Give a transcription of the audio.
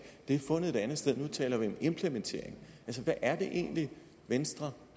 er fundet et anden sted nu taler vi om implementeringen altså hvad er det egentlig venstre